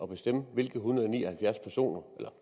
bestemme hvilke en hundrede og ni og halvfjerds personer